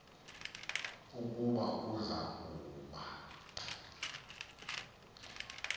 ukuba uza kuba